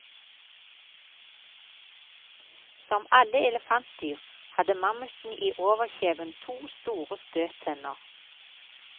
Som alle elefantdyr, hadde mammuten i overkjeven to store støttenner.